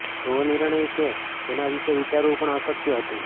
એવો નિર્ણય કે જેના વિશે વિચારવું પણ અશક્ય હતું